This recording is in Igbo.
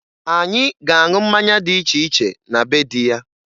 Anyị ga-aṅụ mmanya dị iche iche na be dị ya